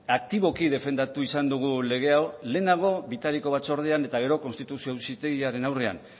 aktiboki defendatu izan dugu lege hau lehenago bitariko batzordean eta gero konstituzio auzitegiaren aurrean